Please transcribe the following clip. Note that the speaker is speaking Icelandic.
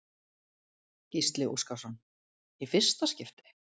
Gísli Óskarsson: Í fyrsta skipti?